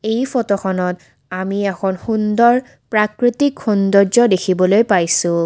এই ফটোখনত আমি এখন সুন্দৰ প্ৰাকৃতিক সৌন্দৰ্য্য দেখিবলে পাইছোঁ।